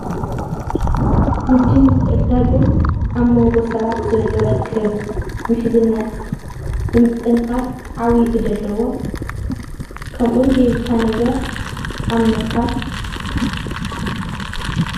ንግድን ምትዕድዳንግን ኣብ መንጎ ሰባት ዘሎ ርክብ፣ ምሕዝነት፣ ንምጥንኻር ዓብዪ ግደ ኣለዎ። ከምኡ እውን ዘይብልካ ነገር ኣብ ምርካብ።